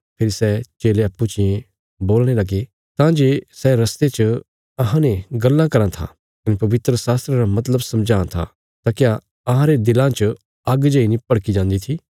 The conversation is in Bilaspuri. फेरी सै चेले अप्पूँ चियें बोलणे लगे तां जे सै रस्ते च अहांने गल्लां कराँ था कने पवित्रशास्त्रा रा मतलब समझां था तां क्या अहांरे दिला च आग्ग जेई नीं भड़की जान्दी थी